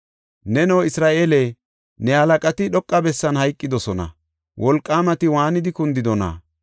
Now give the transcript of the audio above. “Neno Isra7eele, ne halaqati, dhoqa bessan hayqidosona. Wolqaamati waanidi kundidona!